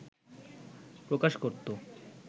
প্রকাশ করত